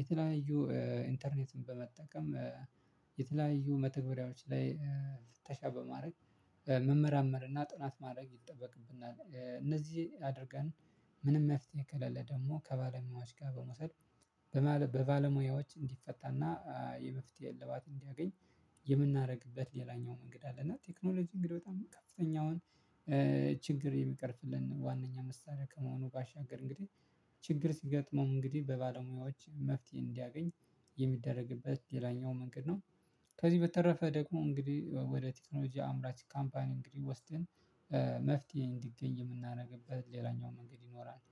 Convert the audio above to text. የተለያዩ ኢንተርኔትን በመጠቀም የተለያዩ መተግበሪያዎች ላይ ተሻበ ማድረግ መመርመር እና ጥናት ማድረግ ይጠበቅብናል። እነዚህ አድርገን ምንም መፍትሄ ከለለ ደግሞ ከባለሙያዎች ጋር በመውሰድ በባለሙያዎች እንዲፈታና የመፍትሄ እልባት እንዲያገኝ። የምናደርግበት ሌላኛው መንገድ አለና ቴክኖሎጂ እንግዲህ በጣም ከፍተኛውን ችግር የሚቀርፍልን ዋናኛ መሳሪያ ከመሆኑ ባሻገር እንግዲህ ችግር ሲገጥመው እንግዲህ በባለሙያዎች መፍትሄ እንዲያገኝ የሚደረግበት ሌላኛው መንገድ ነው። ከዚህ በተረፈ ደግሞ እንግዲህ ወደ ቴክኖሎጂ አምራች ካምፓኒ እንግዲህ ወስደን መፍትሄ እንዲገኝ የምናደርግበት ሌላኛው መንገድ ይኖራል